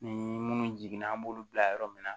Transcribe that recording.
Ni munnu jiginna an b'olu bila yɔrɔ min na